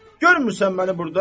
Görmüsən məni burda?